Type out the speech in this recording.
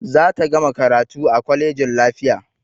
Za ta gama karatu a kwalejin lafiya